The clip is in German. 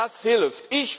Nur das hilft!